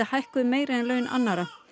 hækkuð meira en laun annarra